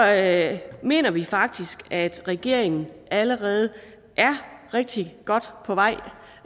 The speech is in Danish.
alt mener vi faktisk at regeringen allerede er rigtig godt på vej